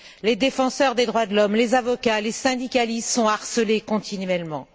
Les défenseurs des droits de l'homme, les avocats, les syndicalistes sont harcelés continuellement.